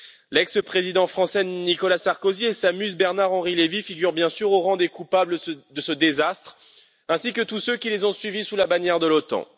L'ex président français, Nicolas Sarkozy et sa muse, Bernard Henri Lévy, figurent bien sûr au rang des coupables de ce désastre, ainsi que tous ceux qui les ont suivis sous la bannière de l'OTAN.